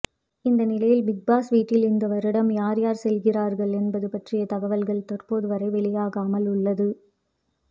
இந்நிலையில் பிக்பாஸ் வீட்டில் இந்த வருடம் யார் யார் செல்கிறார்கள் என்பது பற்றிய தகவல்கள் தற்போது வரை வெளியாகாமல் உள்ளது